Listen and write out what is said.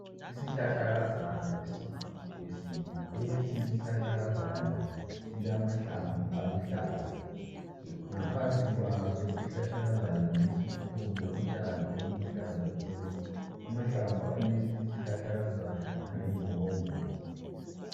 Isihlahlakazana esingumuthi wesintu. Lesi isihlahlakazana silamahlamvu aluhlaza. Ngaphansi kwaso isihlahlakazana lesi kukhona utshani obuluhlaza tshoko. Amahlamvu alesi isihlahlakazana alembokomboko.